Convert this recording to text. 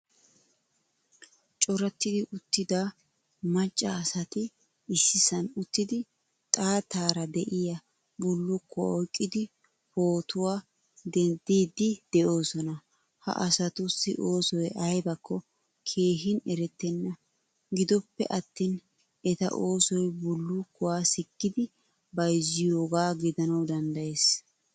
Corattidi uttida macca asati issisan uttidi xaattara de'iyaa bullukkuwaa oyqqidi pootuwaa deddidi deosona. Ha asatussi oosoy aybakko keehin erettena. Giddoppe attin etta oosoy bullukkuwaa sikkidi bayzziyogaa gidanawu danddayees.